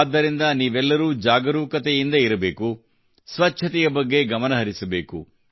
ಆದ್ದರಿಂದ ನೀವೆಲ್ಲರೂ ಜಾಗರೂಕತೆಯಿಂದ ಇರಬೇಕು ಸ್ವಚ್ಛತೆಯ ಬಗ್ಗೆ ಗಮನ ಹರಿಸಬೇಕು